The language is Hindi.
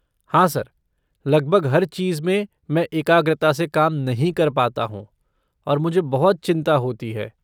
हाँ सर, लगभग हर चीज़ में मैं एकाग्रता से काम नहीं कर पाता हूँ, और मुझे बहुत चिंता होती है।